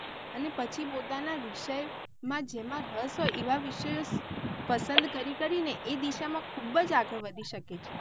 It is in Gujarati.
અને પછી પોતાના વિષય માં જેમાં રશ હોય એવા વિષયો પસંદ કરી કરી ને એ દિશા માં ખુબજ આગળ વધી શકે છે.